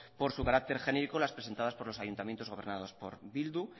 por su carácter genérico las presentadas por los ayuntamientos gobernados por bildu